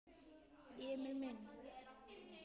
Emil minn.